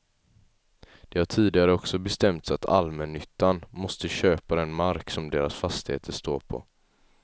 Det har tidigare också bestämts att allmännyttan måste köpa den mark som deras fastigheter står på.